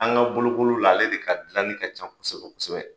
An ka bolokoli la ale de ka dilanni ka ca kosɛbɛ kosɛbɛ.